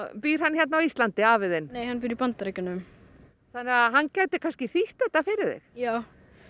býr hann hérna á Íslandi afi þinn hann býr í Bandaríkjunum hann gæti kannski þýtt þetta fyrir þig já